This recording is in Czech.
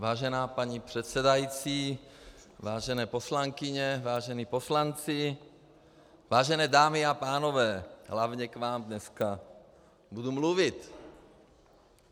Vážená paní předsedající, vážené poslankyně, vážení poslanci, vážené dámy a pánové, hlavně k vám dneska budu mluvit.